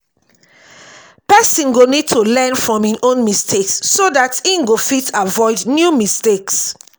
person go need to learn from im own mistakes so dat im go fit avoid new mistakes